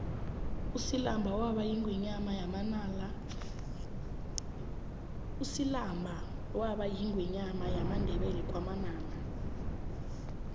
usilamba waba yingwenyama yamandebele wakwamanala